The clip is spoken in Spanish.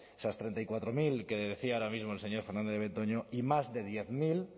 esas treinta y cuatro mil que le decía ahora mismo el señor fernández de betoño y más de diez mil